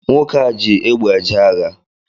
nwoke a ji egbe eje agha